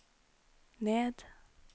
ned